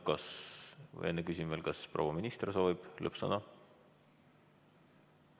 Küsin siiski veel, kas proua minister soovib lõppsõna.